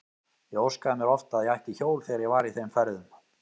Ég óskaði mér oft að ég ætti hjól þegar ég var í þeim ferðum.